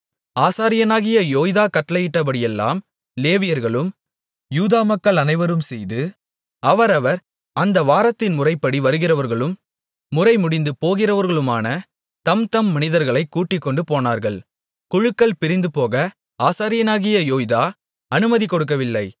ஆசாரியனாகிய யோய்தா கட்டளையிட்டபடியெல்லாம் லேவியர்களும் யூதா மக்கள் அனைவரும் செய்து அவரவர் அந்த வாரத்தின் முறைப்படி வருகிறவர்களும் முறை முடிந்து போகிறவர்களுமான தம்தம் மனிதர்களைக் கூட்டிக்கொண்டு போனார்கள் குழுக்கள் பிரிந்துபோக ஆசாரியனாகிய யோய்தா அனுமதி கொடுக்கவில்லை